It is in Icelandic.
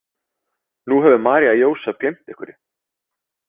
Nú hefur María Jósep gleymt einhverju.